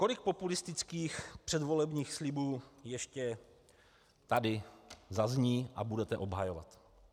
Kolik populistických předvolebních slibů ještě tady zazní a budete obhajovat?